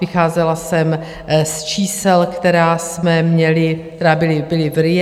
Vycházela jsem z čísel, která jsme měli, která byla v RIA.